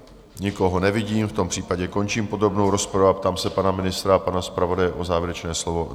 Nikoho nevidím, v tom případě končím podrobnou rozpravu a ptám se pana ministra a pana zpravodaje na závěrečné slovo.